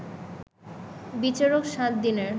বিচারক ৭ দিনের